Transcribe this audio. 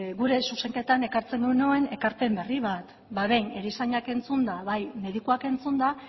gure zuzenketan ekartzen genuen ekarpen berri bat behin erizainak entzunda bai medikuak entzunda